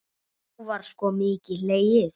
Þá var sko mikið hlegið.